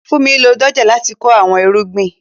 Funmi lo dójè láti kọ awọn irugbin.